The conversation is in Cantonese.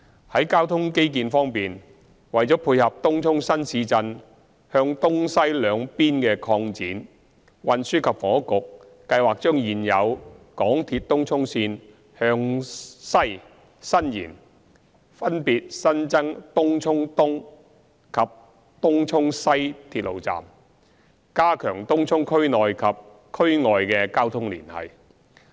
在交通基建方面，為配合東涌新市鎮向東西兩邊的擴展，運輸及房屋局計劃將現有港鐵東涌線向西伸延，分別新增東涌東及東涌西鐵路站，加強東涌區內及與區外的交通連繫。